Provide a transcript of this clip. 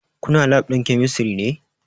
Kuna lab ɗin kemistri ne?